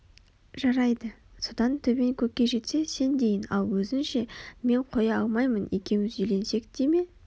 жарайды содан төбең көкке жетсе сен дейін ал өзің ше мен қоя алмаймын екеуміз үйленсек те ме